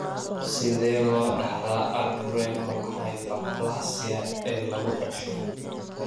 Sidee loo dhaxlaa adrenal hyperplasia ee lagu dhasho?